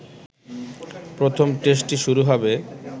প্রথম টেস্টটি শুরু হবে